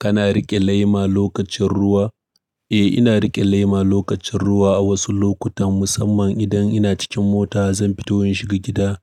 Kana riƙe lema lokacin ruwa? Eh, ina riƙe lema lokacin ruwa a wasu lokutan, musamman idan ina cikin mota zan fito in shiga gida.